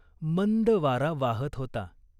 मंद वारा वाहत होता.